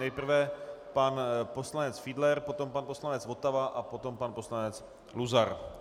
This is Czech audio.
Nejprve pan poslanec Fiedler, potom pan poslanec Votava a potom pan poslanec Luzar.